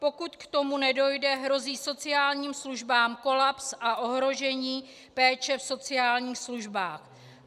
Pokud k tomu nedojde, hrozí sociálním službám kolaps a ohrožení péče v sociálních službách.